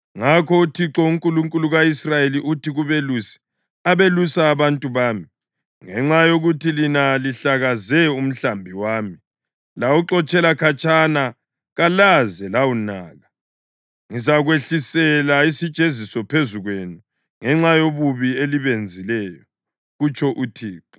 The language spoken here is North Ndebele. Ngakho uThixo, uNkulunkulu ka-Israyeli, uthi kubelusi abelusa abantu bami: “Ngenxa yokuthi lina lihlakaze umhlambi wami lawuxotshela khatshana kalaze lawunaka, ngizakwehlisela isijeziso phezu kwenu ngenxa yobubi elibenzileyo,” kutsho uThixo.